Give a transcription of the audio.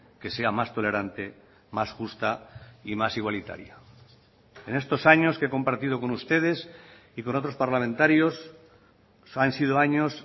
que sea más tolerante más justa y más igualitaria en estos años que he compartido con ustedes y con otros parlamentarios han sido años